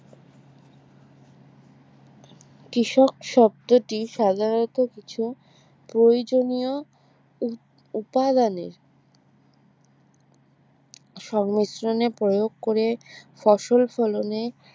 কৃষক শব্দটি সাধারণত কিছু প্রয়োজনীয় উপাদানের সংমিশ্রণে প্রয়োগ করে ফসল ফলনে